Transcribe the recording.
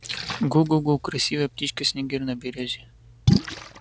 гу-гу-гу красивая птичка снегирь на берёзе